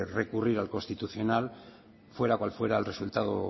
recurrir al constitucional fuera cual fuera el resultado